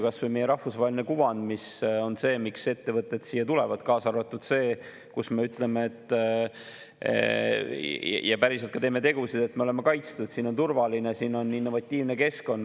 Kas või meie rahvusvaheline kuvand on see, miks ettevõtted siia tulevad, kaasa arvatud see, et me ütleme, et me oleme kaitstud, ja päriselt ka teeme tegusid selleks, siin on turvaline, siin on innovatiivne keskkond.